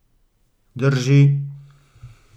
Drži.